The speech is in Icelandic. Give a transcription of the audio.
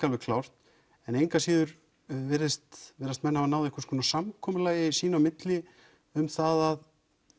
alveg klárt en engu að síður virðist virðist menn hafa náð einhverju samkomulagi sín á milli um það að